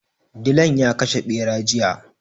Dilan ya kashe ɓera jiya.